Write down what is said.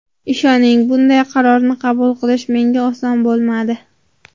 Ishoning, bunday qarorni qabul qilish menga oson bo‘lmadi”.